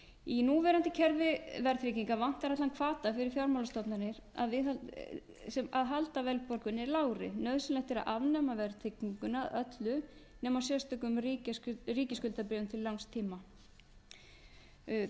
í núverandi kerfi verðtryggingar vantar allan hvata fyrir fjármagnsstofnanir að halda verðbólgunni lágri nauðsynlegt er að afnema verðtrygginguna með öllu nema á sérstökum ríkisskuldabréfum til langs